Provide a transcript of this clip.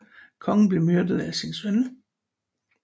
Kongen blev myrdet af sin søn